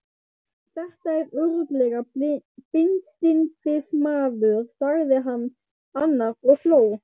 Þetta er örugglega bindindismaður, sagði annar og hló.